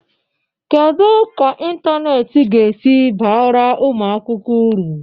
Kedu ka ịntanetị ga-esi baara ụmụ akwụkwọ uru?